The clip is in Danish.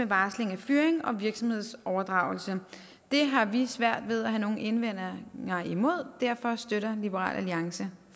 varsling af fyring og virksomhedsoverdragelse det har vi svært ved at have nogen indvendinger imod og derfor støtter liberal alliance